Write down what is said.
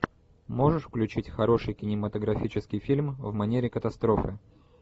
можешь включить хороший кинематографический фильм в манере катастрофы